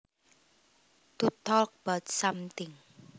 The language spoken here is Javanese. To talk about something